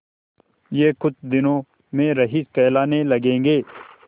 यह कुछ दिनों में रईस कहलाने लगेंगे